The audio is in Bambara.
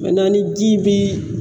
ni ji bi